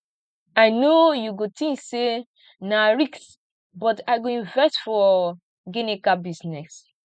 i know you go think say na risk but i go invest for ginika business